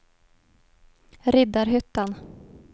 Riddarhyttan